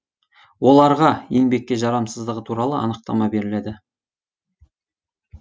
оларға еңбекке жарамсыздығы туралы анықтама беріледі